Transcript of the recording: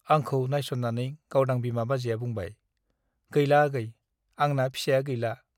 आंखौ नायस' ननानै गावदां बिमा बाजैया बुंबाय , गैला आगै , आंना फिसाया गैला ।